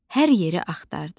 Hər yeri axtardı.